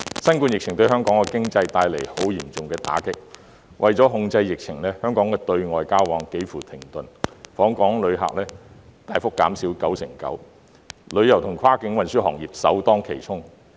新冠疫情對香港經濟帶來相當嚴重的打擊；為了控制疫情，香港的對外交往幾乎停頓，訪港旅客數目大幅減少 99%， 旅遊與跨境運輸行業首當其衝。